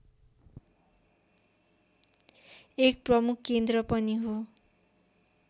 एक प्रमुख केन्द्र पनि हो